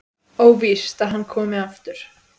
Óvíst að hann komi aftur.